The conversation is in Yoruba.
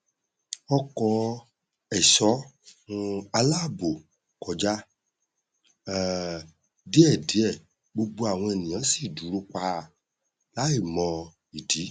ọkọ ẹṣọ um àláàbò kọjá um díẹdíẹ gbogbo àwọn ènìyàn sì dúró pa láì mọ ìdí